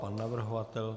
Pan navrhovatel?